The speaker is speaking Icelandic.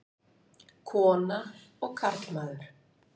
Kona og karlmaður.